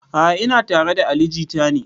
A'a ina tare da ali jita ne